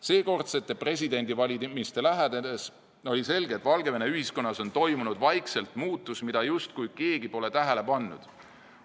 Seekordsete presidendivalimiste lähenedes oli selge, et Valgevene ühiskonnas on toimunud vaikselt muutus, mida justkui keegi pole tähele pannud.